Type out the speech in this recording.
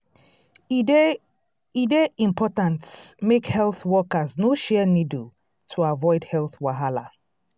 e dey e dey important make health workers no share needle to avoid health wahala.